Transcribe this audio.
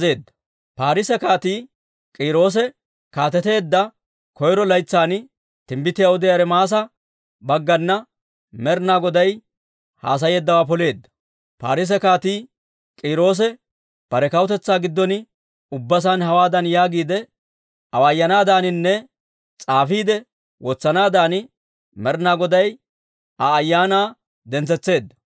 Parsse Kaatii K'iiroosi kaateteedda koyro laytsan, timbbitiyaa odiyaa Ermaasa baggana Med'inaa Goday haasayeeddawaa poleedda. Parsse Kaatii K'iiroosi bare kawutetsaa giddon ubba saan hawaadan yaagiide awaayanaadaaninne s'aafiide wotsanaadan Med'inaa Goday Aa ayaanaa dentsetseedda;